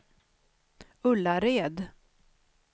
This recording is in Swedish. Ullared